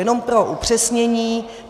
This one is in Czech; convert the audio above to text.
Jenom pro upřesnění.